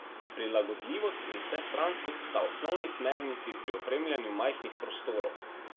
Prilagodljivost in vsestranskost sta osnovni smernici pri opremljanju majhnih prostorov.